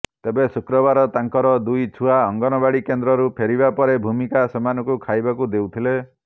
ତେବେ ଶୁକ୍ରବାର ତାଙ୍କର ଦୁଇ ଛୁଆ ଅଙ୍ଗନବାଡ଼ି କେନ୍ଦ୍ରରୁ ପେରିବା ପରେ ଭୂମିକା ସେମାନଙ୍କୁ ଖାଇବାକୁ ଦେଉଥିଲେ